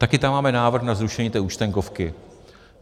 Také tam máme návrh na zrušení té účtenkovky.